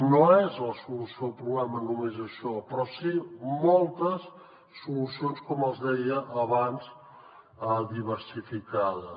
no és la solució al problema només això però sí moltes solucions com els deia abans diversificades